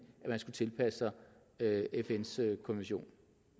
man skulle tilpasse sig fns konvention